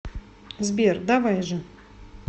сбер давай же